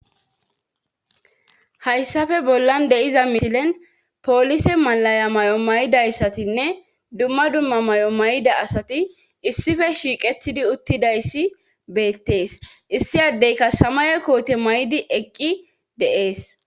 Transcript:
hayssafe bollan de7iza misilen poolise malaya may7o may7idayssatinne dumma dumma may7o may7da asati issife shiiqetidi uttidayssi beettees issi addeyka samaye koote may7di eqqi deees